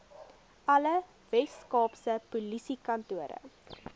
alle weskaapse polisiekantore